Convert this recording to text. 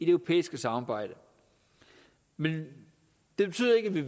europæiske samarbejde men det betyder ikke at vi